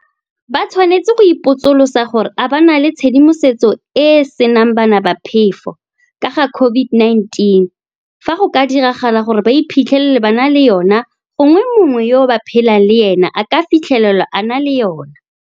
Ba tshwanetse go ipotsolotsa gore a ba na le tshedimosetso e e senang bana ba phefo ka ga COVID-19 fa go ka diragala gore ba iphitlhele ba na le yona gongwe mongwe yo ba phelang le ena a ka fitlhelwa a na le yona.